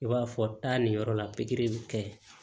I b'a fɔ taa nin yɔrɔ la pikiri bɛ kɛ